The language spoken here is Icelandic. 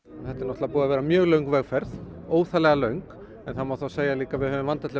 þetta er búið að vera mjög löng vegferð óþarflega löng en það má þá segja líka að við höfum vandað til